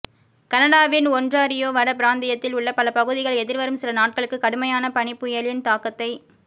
கனடாவின் ஒன்ராறியோ வட பிராந்தியத்தில் உள்ள பல பகுதிகள் எதிர்வரும் சில நாட்களுக்கு கடுமையான பனிப்புயலின் தாக்கத்தை